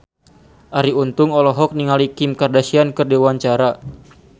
Arie Untung olohok ningali Kim Kardashian keur diwawancara